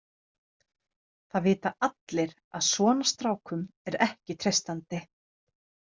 Það vita allir að svona strákum er ekki treystandi.